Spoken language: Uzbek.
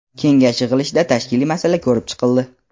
kengash yig‘ilishida tashkiliy masala ko‘rib chiqildi.